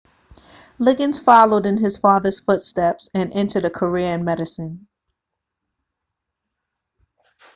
liggins followed in his father's footsteps and entered a career in medicine